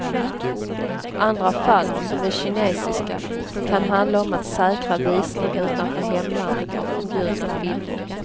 Andra fall, som de kinesiska, kan handla om att säkra visning utanför hemlandet av förbjudna filmer.